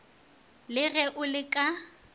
le ge o le ka